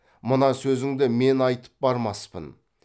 мына сөзіңді мен айтып бармаспын